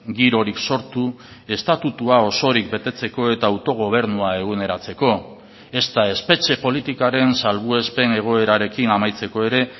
girorik sortu estatutua osorik betetzeko eta autogobernua eguneratzeko ezta espetxe politikaren salbuespen egoerarekin amaitzeko ere